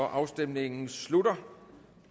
afstemningen slutter